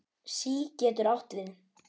SÍ getur átt við